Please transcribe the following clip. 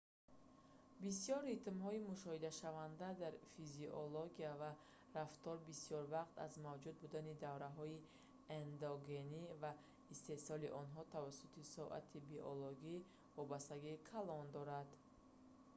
бисёр ритмҳои мушоҳидашаванда дар физиология ва рафтор бисёр вақт аз мавҷуд будани давраҳои эндогенӣ ва истеҳсоли онҳо тавассути соати биологӣ вобастагии калон дорад